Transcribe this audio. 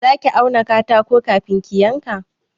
Za ki auna katako kafin ki yanka?